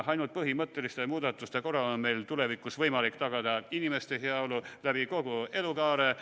Ainult põhimõtteliste muudatuste korral on meil tulevikus võimalik tagada inimeste heaolu kogu elukaare jooksul.